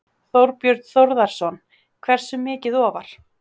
Þorbjörn Þórðarson: Hversu mikið ofar?